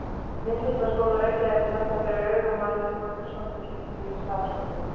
Myndlistarskóla Reykjavíkur með það fyrir augum að undirbúa umsókn um inngöngu í Listaháskólann.